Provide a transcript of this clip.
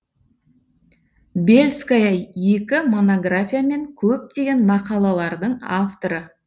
бельская екі монография мен көптеген мақалалардың авторы